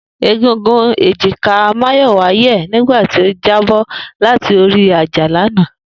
Egungun èjìká Máyọ̀wá yẹ̀ nígbà tó jábọ́ láti orí àjà lánàá